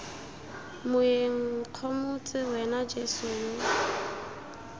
moeng nkgomotse wena jeso yo